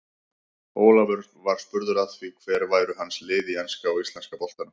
Ólafur var spurður að því hver væru hans lið í enska og íslenska boltanum.